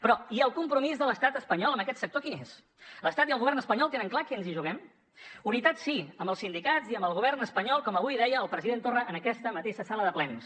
però i el compromís de l’estat espanyol amb aquest sector quin és l’estat i el govern espanyol tenen clar què ens hi juguem unitat sí amb els sindicats i amb el govern espanyol com avui deia el president torra en aquesta mateixa sala de plens